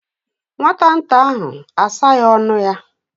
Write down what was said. Nwata nta ahụ asaghị ọnụ ya.